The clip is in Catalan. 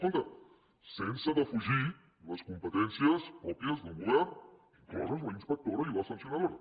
compte sense defugir les competències pròpies d’un govern incloses la inspectora i la sancionadora